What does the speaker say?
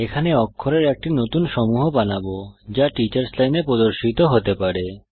এখানে অক্ষরের একটি নতুন সমূহ বানাবো যা টিচার্স লাইনে প্রদর্শিত হতে পারে